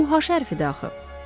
Bu haş hərfi də axı.